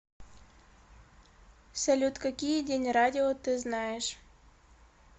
салют какие день радио ты знаешь